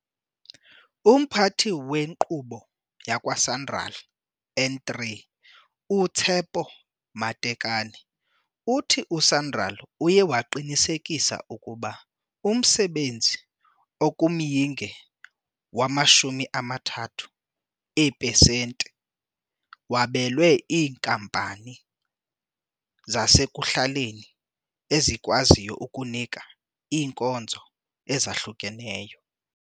UMphathi weNkqubo yakwa-Sanral N3 uTshepo Matekane uthi u-Sanral uye waqinisekisa ukuba umsebenzi okumyinge wama-30 eepesente wabelwe iinkampani zasekuhlaleni ezikwaziyo ukunika iinkonzo ezahlukeneyo.